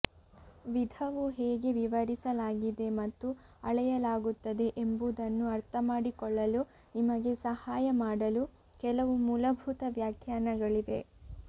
ವಿಧವು ಹೇಗೆ ವಿವರಿಸಲಾಗಿದೆ ಮತ್ತು ಅಳೆಯಲಾಗುತ್ತದೆ ಎಂಬುದನ್ನು ಅರ್ಥಮಾಡಿಕೊಳ್ಳಲು ನಿಮಗೆ ಸಹಾಯ ಮಾಡಲು ಕೆಲವು ಮೂಲಭೂತ ವ್ಯಾಖ್ಯಾನಗಳಿವೆ